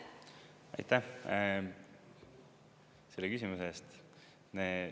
Aitäh selle küsimuse eest!